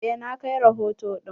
Eh na kai rahoto ɗin.